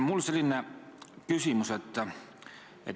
Mul selline küsimus.